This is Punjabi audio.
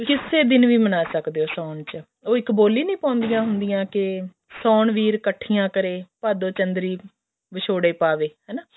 ਕਿਸੇ ਦਿਨ ਵੀ ਮਨਾ ਸਕਦੇ ਹੋ ਸਾਉਣ ਚ ਉਹ ਇੱਕ ਬੋਲੀ ਨੀ ਪਾਉਂਦੀਆਂ ਹੁੰਦੀਆਂ ਕੇ ਸਾਉਣ ਵੀਰ ਇੱਕਠੀਆਂ ਕਰੇ ਭਾਦੋਂ ਚੰਦਰੀ ਵਿਛੋੜੇ ਪਵੇ ਹਨਾ